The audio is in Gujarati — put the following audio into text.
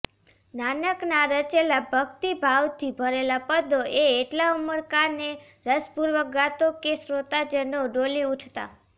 નાનકનાં રચેલા ભક્તિભાવથી ભરેલાં પદો એ એટલા ઉમળકા ને રસપુર્વક ગાતો કે શ્રોતાજનો ડોલી ઉઠતા